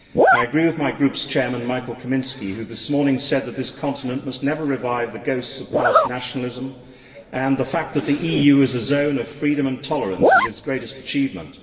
I agree with my group's chairman, Michał Kamiński, who this morning said that this continent must never revive the ghosts of past nationalism, and that the EU is a zone of freedom and tolerance is its greatest achievement.